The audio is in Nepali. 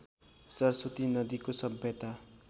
सरस्वती नदीको सभ्यता